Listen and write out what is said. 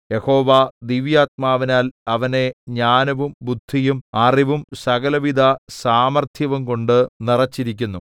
യഹോവ ദിവ്യാത്മാവിനാൽ അവനെ ജ്ഞാനവും ബുദ്ധിയും അറിവും സകലവിധ സാമർത്ഥ്യവുംകൊണ്ട് നിറച്ചിരിക്കുന്നു